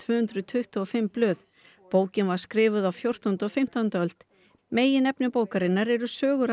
hundruð tuttugu og fimm blöð bókin var skrifuð á fjórtándu og fimmtándu öld meginefni Flateyjarbókar er sögur af